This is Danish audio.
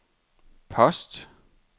post